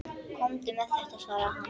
Komdu með þetta, svaraði hann.